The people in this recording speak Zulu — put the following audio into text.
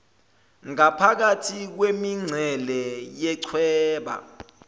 ngaphakathi kwemincele yechweba